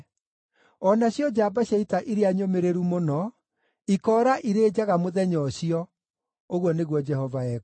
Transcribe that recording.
O nacio njamba cia ita iria nyũmĩrĩru mũno, ikoora irĩ njaga mũthenya ũcio,” ũguo nĩguo Jehova ekuuga.